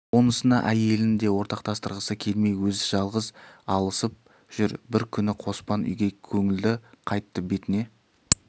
онысына әйелін де ортақтастырғысы келмей өзі жалғыз алысып жүр бір күні қоспан үйге көңілді қайтты бетіне